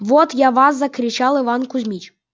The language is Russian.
вот я вас закричал иван кузмич